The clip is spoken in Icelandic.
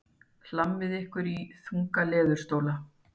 Hlammið ykkur í þunga leðurstóla.